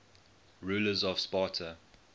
rulers of sparta